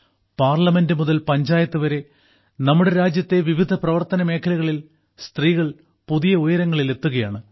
parliament മുതൽ പഞ്ചായത്ത് വരെ നമ്മുടെ രാജ്യത്തെ വിവിധ പ്രവർത്തന മേഖലകളിൽ സ്ത്രീകൾ പുതിയ ഉയരങ്ങളിൽ എത്തുകയാണ്